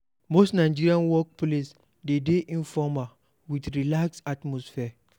Most nigerian work place dey de informal, with relaxed atmosphere